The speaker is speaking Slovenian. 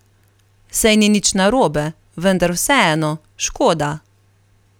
Saj ni nič narobe, vendar vseeno, škoda!